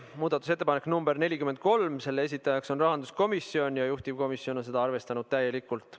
Muudatusettepanek nr 43, selle esitajaks on rahanduskomisjon ja juhtivkomisjon on arvestanud seda täielikult.